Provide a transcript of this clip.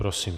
Prosím.